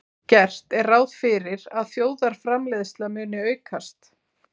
Gert er ráð fyrir að þjóðarframleiðsla muni aukast.